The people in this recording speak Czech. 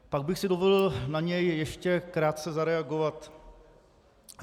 Pak bych si dovolil na něj ještě krátce zareagovat.